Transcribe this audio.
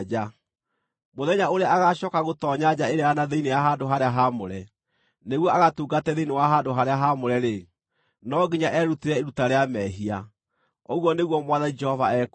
Mũthenya ũrĩa agaacooka gũtoonya nja ĩrĩa ya na thĩinĩ ya handũ-harĩa-haamũre nĩguo agatungate thĩinĩ wa handũ-harĩa-haamũre-rĩ, no nginya erutĩre iruta rĩa mehia, ũguo nĩguo Mwathani Jehova ekuuga.